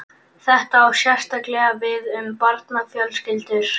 Þetta á sérstaklega við um barnafjölskyldur.